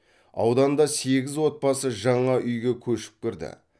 ауданда сегіз отбасы жаңа үйге көшіп кірді